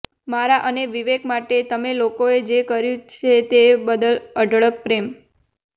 મારા અને વિવેક માટે તમે લોકોએ જે કંઈ કર્યું છે તે બદલ અઢળક પ્રેમ